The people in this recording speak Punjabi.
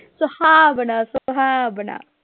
ਸੁਹਾਵਣਾ ਸੁਹਾਵਣਾ